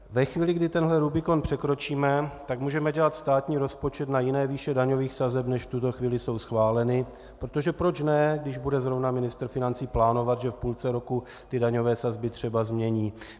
Ve chvíli, kdy tenhle rubikon překročíme, tak můžeme dělat státní rozpočet na jiné výše daňových sazeb, než v tuto chvíli jsou schváleny, protože proč ne, když bude zrovna ministr financí plánovat, že v půlce roku ty daňové sazby třeba změní.